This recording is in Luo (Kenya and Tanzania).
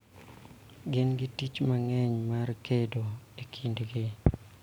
Gin gi tich mang�eny mar kedo e kindgi